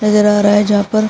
नजर आ रहा है जहां पर --